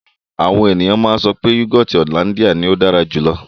Àwọn ènìyàn máa ń sọ wípé yúgọọ́ti hollandia ní ó dára jù lọ.